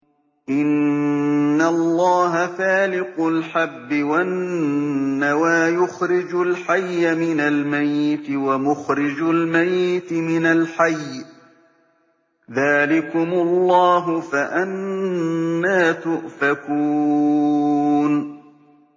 ۞ إِنَّ اللَّهَ فَالِقُ الْحَبِّ وَالنَّوَىٰ ۖ يُخْرِجُ الْحَيَّ مِنَ الْمَيِّتِ وَمُخْرِجُ الْمَيِّتِ مِنَ الْحَيِّ ۚ ذَٰلِكُمُ اللَّهُ ۖ فَأَنَّىٰ تُؤْفَكُونَ